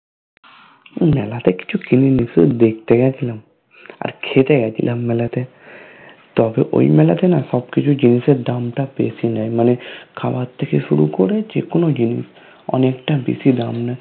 এই মেলাতে কিছু কিনিনি শুধু দেখতে গেছিলাম আর খেতে গেছিলাম মেলাতে । তবে ওই মেলা টা না সব কিছু জিনিসের দামটা বেশি নেই মানে খাবার থেকে শুরু করে যেকোনো জিনিস অনেকটা বেশি দাম নেয়